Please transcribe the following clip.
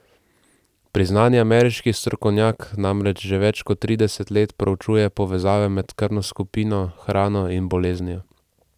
Priznani ameriški strokovnjak namreč že več kot trideset let preučuje povezave med krvno skupino, hrano in boleznijo.